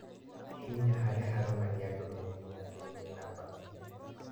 Hihinya harĩa haronania ndũmĩrĩri ya thĩiniĩ namba inya